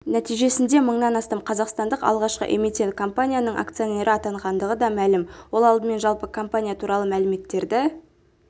нәтижесінде мыңнан астам қазақстандық алғашқы эмитент-компанияның акционері атанғандығы да мәлім ол алдымен жалпы компания туралы мәліметтерді